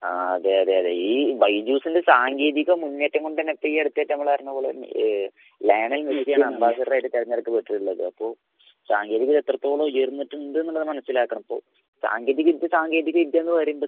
ആ അതേ അതേ അതേ ഈ വൈദ്യൂസിന്റെ സാങ്കേതിക മുന്നേറ്റം കൊണ്ട് തന്നെ ഇപ്പൊ ഈ അടുത്ത് ഏറ്റവും നമ്മളറിഞ്ഞ പോലെ ലയണൽ മെസ്സിയാണ് അമ്പസാറ്റാറായിട്ട് തെരഞ്ഞെടുത്തിട്ടുള്ളത്. അപ്പൊ സാങ്കേതികം എത്രത്തോളം ഉയർന്നിട്ടുണ്ട്ന്നുള്ളത് മനസ്സിലാക്കണം.സാങ്കേതിക വിദ്യ സാങ്കേതിക വിദ്യാന്ന് പറയുമ്പൊ